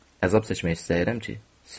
Əzab çəkmək istəyirəm ki, sevim.